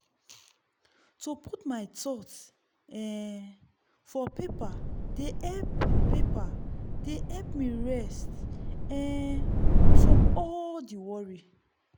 to put my thoughts um for paper dey help paper dey help me rest um from all the worry.